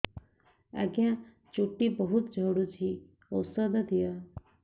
ଆଜ୍ଞା ଚୁଟି ବହୁତ୍ ଝଡୁଚି ଔଷଧ ଦିଅ